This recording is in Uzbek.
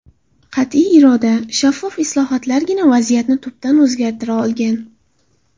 Qat’iy iroda, shaffof islohotlargina vaziyatni tubdan o‘zgartira olgan.